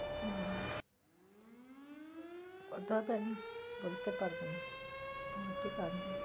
হম ওটা তো আমি বলতে পারবো না